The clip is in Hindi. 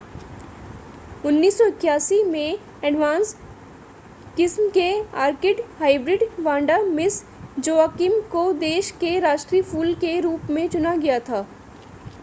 1981 में एडवांस किस्म के orchid hybrid Vanda Miss Joaquim को देश के राष्ट्रीय फूल के रूप में चुना गया था